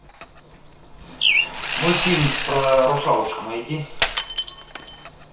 мультфильм про русалочку найди